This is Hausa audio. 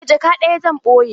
Eh jaka ɗaya zan ɓoye.